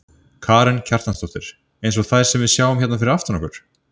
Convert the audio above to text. Karen Kjartansdóttir: Eins og þær sem við sjáum hérna fyrir aftan okkur?